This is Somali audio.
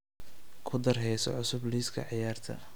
ku dar heeso cusub liiska ciyaarta